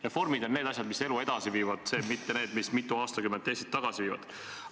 Reformid on asjad, mis elu edasi viivad, mitte need, mis mitu aastakümmet Eestit tagasi viivad.